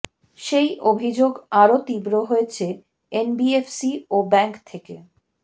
সেই অভিযোগ আরও তীব্র হয়েছে এনবিএফসি ও ব্যাঙ্ক থেকে